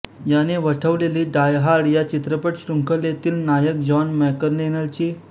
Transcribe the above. याने वठवलेली die hard या चित्रपटशृंखलेतील नायक जॉन मॅकलेनची भूमिका प्रसिद्ध आहे